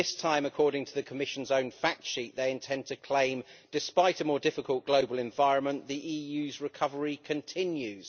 This time, according to the Commission's own fact sheet, they intend to claim that despite a more difficult global environment the EU's recovery continues.